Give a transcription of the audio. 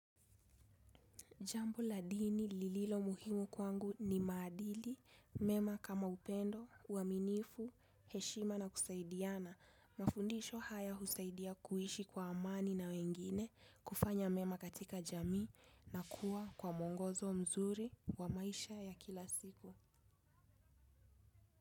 Jambo la dini lililo muhimu kwangu ni maadili, mema kama upendo, uaminifu, heshima na kusaidiana. Mafundisho haya husaidia kuishi kwa amani na wengine kufanya mema katika jamii na kuwa kwa mwongozo mzuri wa maisha ya kila siku.